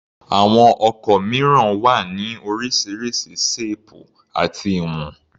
Àwọn ọkọ̀ mìíràn wọn wá ní oríṣiríṣi ṣéèpù àti ìwọn.